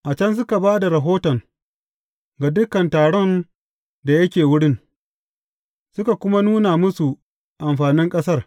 A can suka ba da rahoton ga dukan taron da yake wurin, suka kuma nuna musu amfanin ƙasar.